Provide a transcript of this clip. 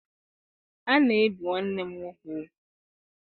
A na-ebi nwanne m nwoke ugwu.